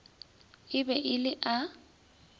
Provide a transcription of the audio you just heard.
e be e le a